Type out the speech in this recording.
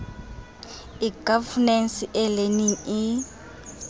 e governance e learning e